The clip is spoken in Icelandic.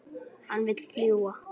Hann vill fljúga.